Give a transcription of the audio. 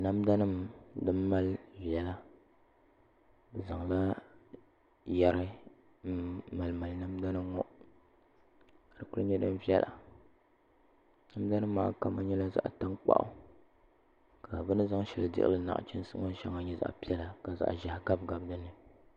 Namda nim din mali viɛla bi zaŋla yɛri n mali namda nim ŋɔ ka di ku nyɛ din viɛla namda nim maa kama nyɛla zaɣ tankpaɣu ka bi ni zaŋ shɛli dihili nachiinsi ŋɔ shɛli nyɛ zaɣ piɛla ka zaɣ ʒiɛho ʒiɛhi gabi dinni